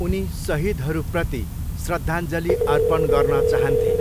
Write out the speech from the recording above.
उनी सहिदहरूप्रति श्रद्धाञ्जली अर्पण गर्न चाहन्थे।